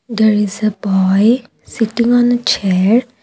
there is a boy sitting on a chair.